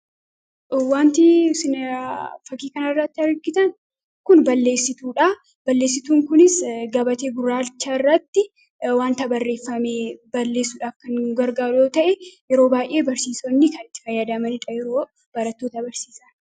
Wanti isin fakkii kana irratti argitan kun balleessituu dha. Balleessituun kunis gabatee gurraacha irratti wanta barreeffame balleessuudhaaf kan nu gargaaru yoo ta'e, yeroo baay'ee barsiisonni kan itti fayyadamaniidha yeroo barattoota barsiisan.